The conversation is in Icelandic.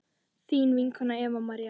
þín vinkona Eva María.